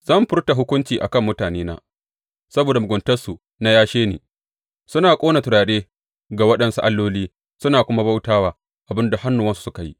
Zan furta hukunci a kan mutanena saboda muguntarsu na yashe ni, suna ƙona turare ga waɗansu alloli suna kuma bauta wa abin da hannuwansu suka yi.